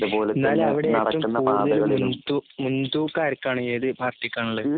എന്നാൽ അവിടെ ഏറ്റവും കൂടുതലും മുൻതൂക്കം ആർക്കാണ് ഏതു പാർട്ടിക്ക് ആണ്